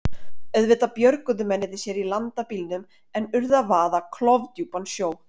Auðvitað björguðu mennirnir sér í land af bílnum en urðu að vaða klofdjúpan sjó.